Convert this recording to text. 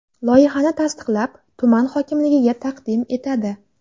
Loyihani tasdiqlab, tuman hokimligiga taqdim etadi.